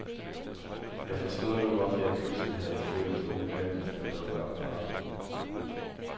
Jeg forstod nu, hvorfor jeg pludselig havde følt det unødvendigt at dukke op på arbejde.